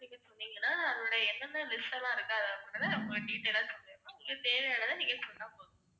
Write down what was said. நீங்க சொன்னீங்கன்னா நம்முடைய என்னென்ன list எல்லாம் இருக்கு detail ஆ சொல்லிடலாம். நீங்க தேவையானதை நீங்க சொன்னா போதும்